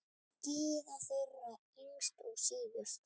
Gyða þeirra yngst og síðust.